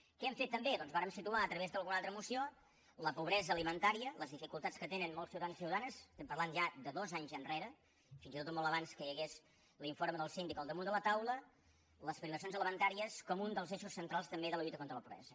què hem fet també doncs vàrem situar a través d’alguna altra moció la pobresa alimentària les dificultats que tenen molts ciutadans i ciutadanes estem parlant ja de dos anys enrere fins i tot de molt abans que hi hagués l’informe del síndic al damunt de la taula les privacions alimentàries com un dels eixos centrals també de la lluita contra la pobresa